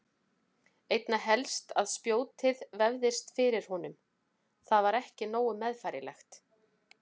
Einna helst að spjótið vefðist fyrir honum, það var ekki nógu meðfærilegt.